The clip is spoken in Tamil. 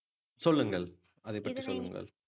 சொல்லுங்கள் அதை பற்றி சொல்லுங்கள்